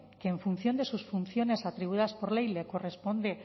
que en función de sus funciones atribuidas por ley le corresponde